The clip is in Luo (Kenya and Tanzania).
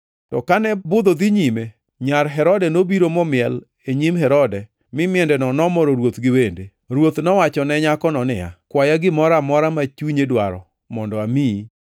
To kane budho dhi nyime, nyar Herodia nobiro momiel e nyim Herode mi miendeno nomoro ruoth gi wende. Ruoth nowachone nyakono niya, “Kwaya gimoro amora ma chunyi dwaro mondo amiyi.”